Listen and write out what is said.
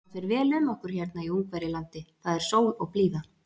Það fer vel um okkur hérna í Ungverjalandi, það er sól og blíða.